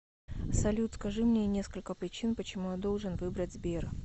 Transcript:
салют скажи мне несколько причин почему я должен выбрать сбер